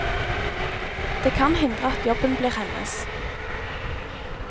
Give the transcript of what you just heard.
Det kan hindre at jobben blir hennes.